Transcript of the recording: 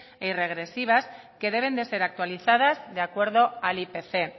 e irregresivas que deben de ser actualizadas de acuerdo al ipc